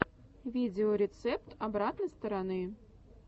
видеорецепт обратной стороны